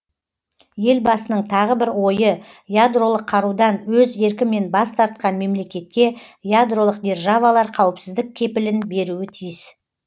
елбасының тағы бір ойы ядролық қарудан өз еркімен бас тартқан мемлекетке ядролық державалар қауіпсіздік кепілін беруі тиіс